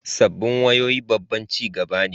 Sabbin wayoyi babban ci gaba ne